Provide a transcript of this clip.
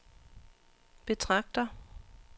betragter